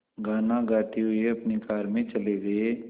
गाना गाते हुए अपनी कार में चले गए